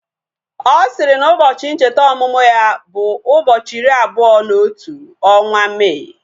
Ọ sịrị na ụbọchị ncheta ọmụmụ ya bụ ụbọchị iri abụọ na otu ọnwa Mee